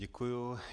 Děkuju.